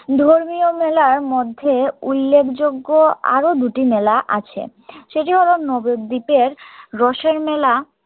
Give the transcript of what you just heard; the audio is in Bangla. ধর্মীয় মেলার মধ্যে উল্লেখযোগ্য আরো দুটি মেলা আছে সেটি হলো নব্বদীপের রোষের মেলা